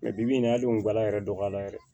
bi bi in na hali ngo gala yɛrɛ dɔgɔya la yɛrɛ